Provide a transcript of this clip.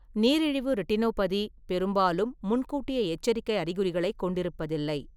நீரிழிவு ரெட்டினோபதி பெரும்பாலும் முன்கூட்டிய எச்சரிக்கை அறிகுறிகளைக் கொண்டிருப்பதில்லை.